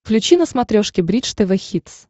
включи на смотрешке бридж тв хитс